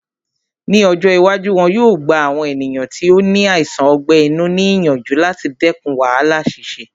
Ní ọjọ́ iwájú, wọn yóò gba àwọn ènìyàn tí ó ní àìsàn ọgbẹ́ inú ní ìyànjú láti dẹkùn wàhálà ṣíṣe